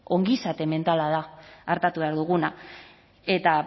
ongizate mentala da artatu behar duguna eta